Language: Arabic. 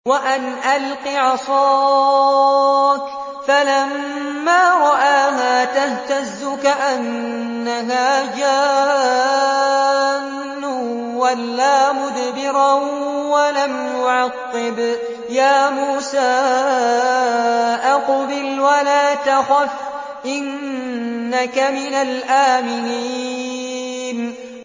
وَأَنْ أَلْقِ عَصَاكَ ۖ فَلَمَّا رَآهَا تَهْتَزُّ كَأَنَّهَا جَانٌّ وَلَّىٰ مُدْبِرًا وَلَمْ يُعَقِّبْ ۚ يَا مُوسَىٰ أَقْبِلْ وَلَا تَخَفْ ۖ إِنَّكَ مِنَ الْآمِنِينَ